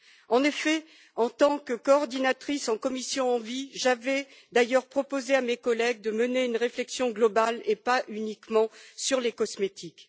En effet, en tant que coordinatrice en commission ENVI, j'avais d'ailleurs proposé à mes collègues de mener une réflexion globale et pas uniquement sur les cosmétiques.